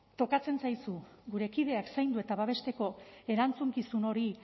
tokatzen zaizu gure kideak zaindu eta babesteko erantzukizun hori